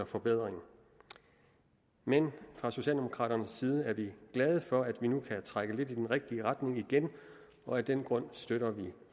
forbedring men fra socialdemokraternes side er vi glade for at vi nu kan trække lidt i den rigtige retning igen og af den grund støtter vi